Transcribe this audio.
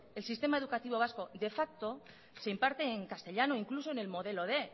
el sistema educativo vasco de ipso se imparte en castellano incluso en el modelo quinientos